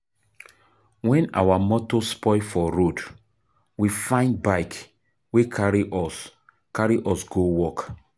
Wen our motor spoil for road, we find bike wey carry us carry us go work.